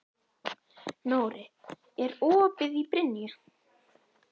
Nóri, er opið í Brynju?